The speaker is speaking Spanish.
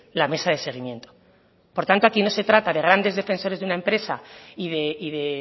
la mesa de seguimiento por tanto aquí no se trata de grandes defensores de una empresa y de